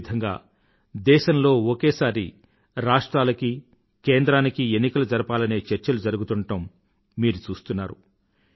అదే విధంగా దేశంలో ఒకేసారి రాష్ట్రాలకి కేంద్రానికీ ఎన్నికలు జరపాలనే చర్చలు జరుగుతుండటం మీరు చూస్తున్నారు